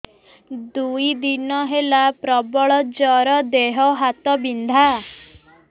ଦୁଇ ଦିନ ହେଲା ପ୍ରବଳ ଜର ଦେହ ହାତ ବିନ୍ଧା